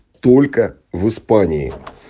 только в испании